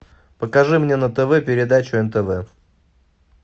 покажи мне на тв передачу нтв